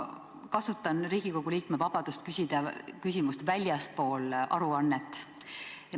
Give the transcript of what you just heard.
Ma kasutan Riigikogu liikme vabadust küsida küsimus, mis ei puuduta aruannet.